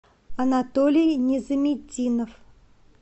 анатолий незаметдинов